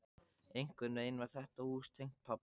Einhvern veginn var þetta hús tengt pabba.